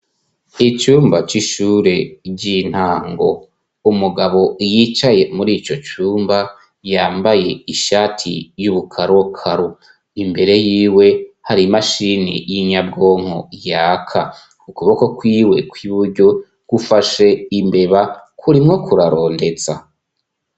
Icumba c'ishure ry'intango; umugabo yicaye muri ico cumba yambaye ishati y'ubukarokaro. Imbere yiwe hari imashini y'inyabwonko yaka. Ukuboko kwiwe kw'iburyo gufashe imbeba kurimwo kurarondeza.